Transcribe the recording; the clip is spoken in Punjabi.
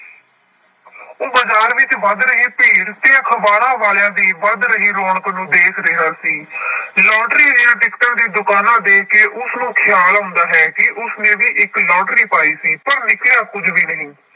ਉਹ ਬਾਜ਼ਾਰ ਵਿੱਚ ਵੱਧ ਰਹੀ ਭੀੜ ਤੇ ਅਖ਼ਬਾਰਾਂ ਵਾਲਿਆਂ ਦੀ ਵੱਧ ਰਹੀ ਰੌਣਕ ਨੂੰ ਦੇਖ ਰਿਹਾ ਸੀ ਲੋਟਰੀ ਦੀਆਂ ਟਿਕਟਾਂ ਦੀ ਦੁਕਾਨਾਂ ਦੇਖ ਕੇ ਉਸਨੂੰ ਖਿਆਲ ਆਉਂਦਾ ਹੈ ਕਿ ਉਸਨੇ ਵੀ ਇੱਕ ਲੋਟਰੀ ਪਾਈ ਸੀ ਪਰ ਨਿਕਲਿਆ ਕੁੱਝ ਵੀ ਨਹੀਂ।